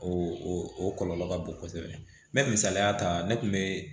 O o o kɔlɔlɔ ka bon kosɛbɛ mɛ misaliya ta ne kun bɛ